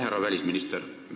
Härra välisminister!